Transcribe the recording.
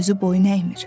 özü boyun əymir.